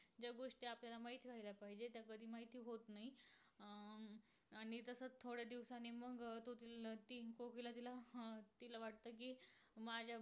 model